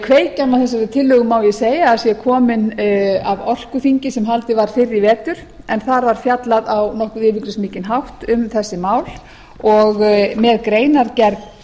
kveikjan að þessari tillögu má ég segja að sé komin af orkuþingi sem haldið var fyrr í vetur en þar var fjallað á nokkuð yfirgripsmikinn hátt um þessi mál og með greinargerð